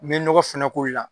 N bɛ nɔgɔ fɛnɛ koyi la.